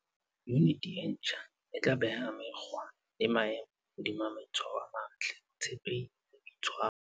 Yuniti e ntjha e tla beha mekgwa le maemo hodima maitshwaro a matle, botshepehi e boitshwaro.